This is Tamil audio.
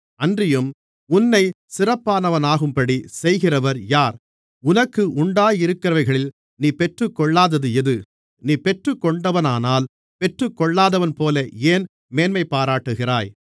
அன்றியும் உன்னை சிறப்பானவனாகும்படி செய்கிறவர் யார் உனக்கு உண்டாயிருக்கிறவைகளில் நீ பெற்றுக்கொள்ளாதது எது நீ பெற்றுக்கொண்டவனானால் பெற்றுக்கொள்ளாதவன்போல ஏன் மேன்மைபாராட்டுகிறாய்